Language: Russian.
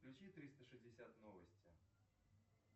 включи триста шестьдесят новости